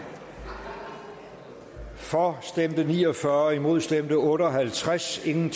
for stemte ni og fyrre imod stemte otte og halvtreds hverken